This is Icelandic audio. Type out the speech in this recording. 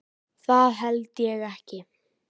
Það held ég ekki.